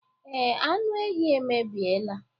Ee, anụ ehi emebiela.